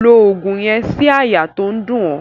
Lo ògùn yen sí àyà to n dún o